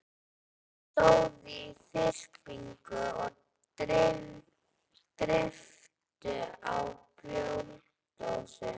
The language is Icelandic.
Þeir stóðu í þyrpingum og dreyptu á bjórdósum.